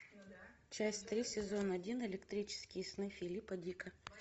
часть три сезон один электрические сны филипа дика